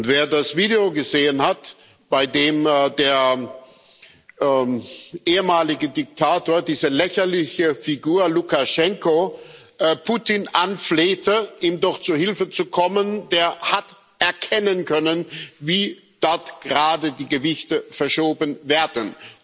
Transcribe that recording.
Wer das Video gesehen hat, bei dem der ehemalige Diktator, diese lächerliche Figur Lukaschenko, Putin anflehte, ihm doch zu Hilfe zu kommen, der hat erkennen können, wie dort gerade die Gewichte verschoben werden.